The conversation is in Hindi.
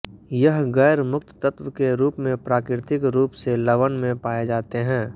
यह गैर मुक्त तत्व के रूप में प्राकृतिक रूप से लवण में पाए जाते हैं